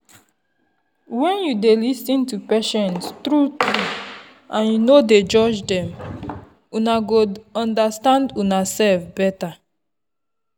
when you dey lis ten to patient true-true and you no dey judge dem una go understand unasef better.